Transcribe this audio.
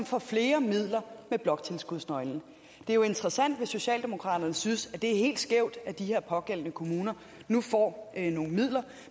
får flere midler med bloktilskudsnøglen det er jo interessant hvis socialdemokraterne synes at det er helt skævt at de her pågældende kommuner nu får nogle midler